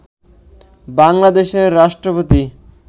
বাংলাদেশের রাষ্ট্রপতি